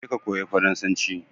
Je ka koya farasanci!